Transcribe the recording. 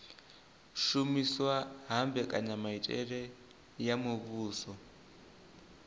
shumiswa ha mbekanyamitele ya muvhuso